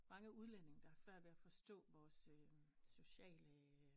Mange udlændinge der har svært ved at forstå vores sociale